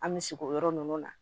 An bɛ sigi o yɔrɔ ninnu na